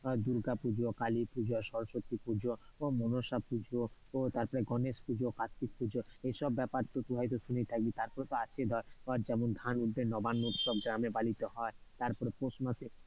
দূর্গাপুজো, কালীপুজো, সরস্বতী পুজো, মনসা পুজো, তারপরে গণেশ পুজো, কার্ত্তিক পুজো এইসব ব্যপার তো তুই হয়তো শুনেই থাকবি, তারপরে তো আছে ধর যেমন ধান উঠলে নবান্ন উৎসব গ্রামে বাড়িতে হয় তারপরে পৌষমাসে,